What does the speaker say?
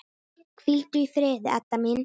Hvíldu í friði, Edda mín.